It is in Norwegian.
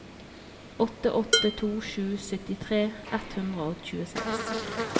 åtte åtte to sju syttitre ett hundre og tjueseks